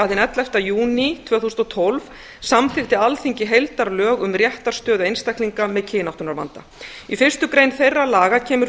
hinn ellefta júní tvö þúsund og tólf samþykkti alþingi heildarlög um réttarstöðu einstaklinga með kynáttunarvanda í fyrstu grein þeirra laga kemur